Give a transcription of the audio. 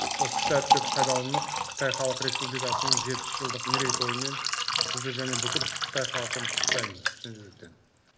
осы сәтті пайдаланып қытай халық республикасының жетпіс жылдық мерейтойымен сізді және бүкіл қытай халқын құттықтаймын шын жүректен